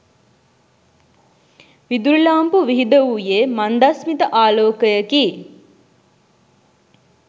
විදුලි ලාම්පු විහිදවූයේ මන්දස්මිත ආලෝකයකි.